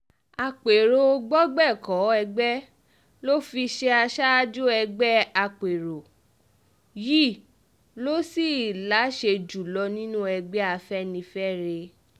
àpérò gbọgbẹ́kọ̀ọ́ ẹgbẹ́ ló fi í ṣe aṣáájú ẹgbẹ́ àpérò yìí ló sì láṣẹ jù lọ nínú ẹgbẹ́ afẹ́nifẹ́re